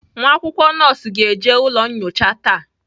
Nwa akwụkwọ nọọsụ ga-eji ụlọ nyocha taa.